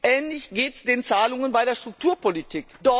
Ähnlich geht es den Zahlen bei der Strukturpolitik.